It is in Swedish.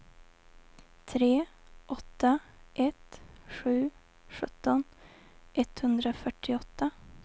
tre åtta ett sju sjutton etthundrafyrtioåtta